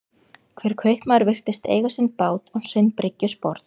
Hver kaupmaður virtist eiga sinn bát og sinn bryggjusporð.